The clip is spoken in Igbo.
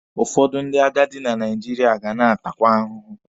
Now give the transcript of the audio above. Ụfọdụ ndị agadi na Naijiria ga na-atakwa ahụhụ.